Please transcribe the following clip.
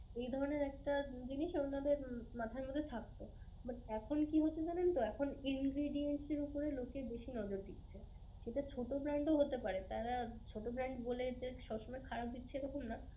এই ধরণের একটা জিনিস উনাদের মাথার মধ্যে থাকতো but এখন কি হয়েছে জানেনতো এখন ingredience এর উপরে লোকে বেশি নজর দিচ্ছে. সেটা ছোট brand ও হতে পারে. তারা ছোট বলে যে সবসময় খারাপ দিচ্ছে এরকম না.